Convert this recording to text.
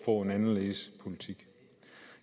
få en anderledes politik